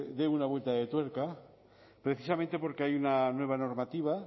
dé una vuelta de tuerca precisamente porque hay una nueva normativa